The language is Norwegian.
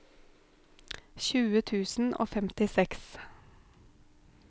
tjue tusen og femtiseks